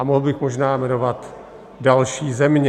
A mohl bych možná jmenovat další země.